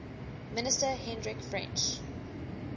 minister hendrik frensch